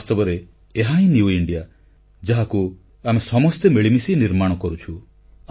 ବାସ୍ତବରେ ଏହାହିଁ ନୂଆ ଭାରତ ଯାହାକୁ ଆମେ ସମସ୍ତେ ମିଳିମିଶି ନିର୍ମାଣ କରୁଛୁ